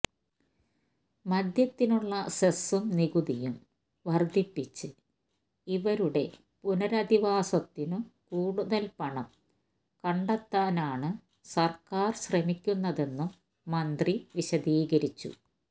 മദ്യത്തിനുള്ള സെസും നികുതിയും വർധിപ്പിച്ച് ഇവരുടെ പുനരധിവാസത്തിനു കൂടുതൽ പണം കണ്ടെത്താനാണ് സർക്കാർ ശ്രമിക്കുന്നതെന്നും മന്ത്രി വിശദീകരിച്ചു